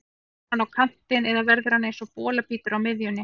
Fer hann á kantinn eða verður hann eins og bolabítur á miðjunni?